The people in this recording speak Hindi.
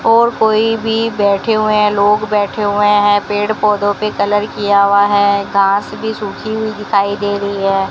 और कोई भी बैठे हुए हैं लोग बैठे हुए हैं पेड़ पौधों पे कलर किया हुआ है घास भी सूखी हुई दिखाई दे रही है।